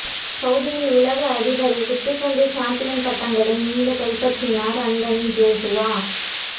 சவூதியில் உலக அதிபார குத்துச்சண்டை சம்பியன் பட்டங்களை மீளக் கைப்பற்றினார் அன்தனி ஜோசுவா